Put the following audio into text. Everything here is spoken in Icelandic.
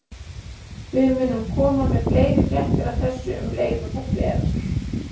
Við munum koma með fleiri fréttir af þessu um leið og þær berast.